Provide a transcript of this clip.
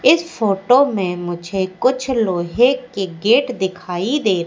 इस फोटो में मुझे कुछ लोहे के गेट दिखाई दे--